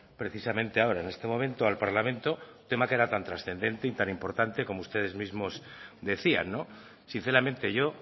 precisamente ahora en este momento al parlamento un tema que era tan trascendente y tan importante como ustedes mismo decían sinceramente yo